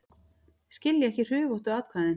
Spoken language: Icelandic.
Skilja ekki hrufóttu atkvæðin